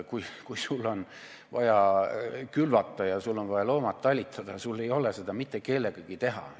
Sul on vaja külvata ja sul on vaja loomad talitada, aga sul ei ole kedagi, kes seda teeks.